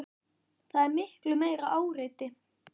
Það er miklu meira áreiti.